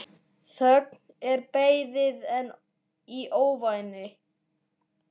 Þögn og beðið í ofvæni.